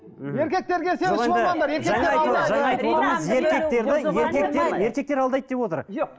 еркектер алдайды деп отыр жоқ